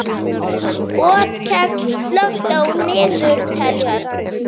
Otkell, slökktu á niðurteljaranum.